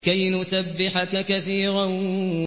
كَيْ نُسَبِّحَكَ كَثِيرًا